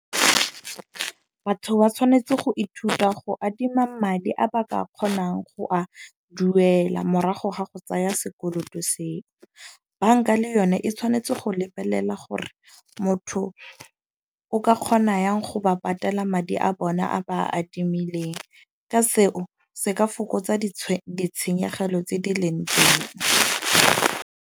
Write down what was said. Batho ba tshwanetse go ithuta go adima madi a ba ka kgonang go a duela, morago ga go tsaya sekoloto seo. Banka le yone e tshwanetse go lebelela gore motho o ka kgona yang go ba patela madi a bona a ba a adimileng. Ka seo se ka fokotsa ditshenyegelo tse di leng teng.